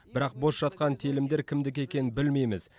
бірақ бос жатқан телімдер кімдікі екенін білмейміз